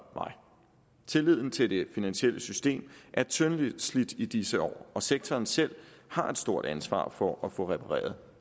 mig tilliden til det finansielle system er tyndslidt i disse år og sektoren selv har et stort ansvar for at få repareret